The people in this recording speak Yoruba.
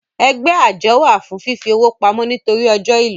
Ẹgbẹ́ àjọ wà fún fífi owó pamọ́ nítorí ọ́jọ ìlò